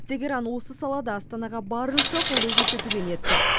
тегеран осы салада астанаға барынша қолдау көрсетуге ниетті